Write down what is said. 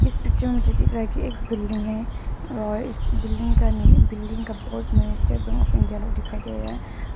इस पिक्चर मुझे दिख रहा है कि एक बिल्डिंग है और इस बिल्डिंग का बोर्ड में स्टेट बैंक ऑफ इंडिया लिखा दिखाई दे रहा है।